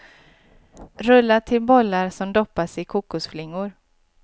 Rulla till bollar som doppas i kokosflingor.